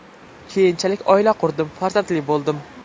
Keyinchalik oila qurdim, farzandli bo‘ldim.